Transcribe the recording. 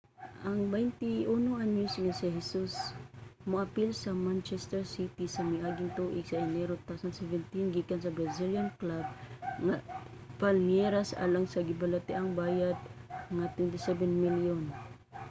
ang 21-anyos nga si hesus miapil sa manchester city sa miaging tuig sa enero 2017 gikan sa brazilian club nga palmeiras alang sa gibalitang bayad nga £27 milyon